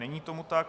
Není tomu tak.